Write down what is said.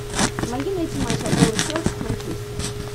помоги найти матч апл челси с манчестером